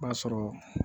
B'a sɔrɔ